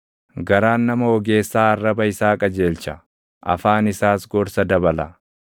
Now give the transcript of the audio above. Garaan nama ogeessaa arraba isaa qajeelcha; afaan isaas gorsa dabala.